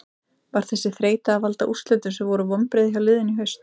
Var þessi þreyta að valda úrslitum sem voru vonbrigði hjá liðinu í haust?